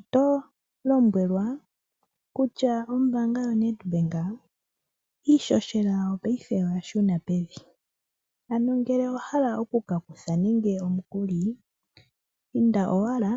Oto lombwelwa kutya ombaanga yo Nedbank, iihohela yawo paife oya shuna pevi. Ano ngele owahala oku ka kutha nande omukuli, inda owala